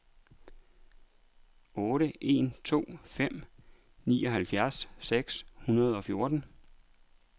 otte en to fem nioghalvfjerds seks hundrede og fjorten